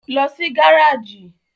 Lọ sí gáràjì!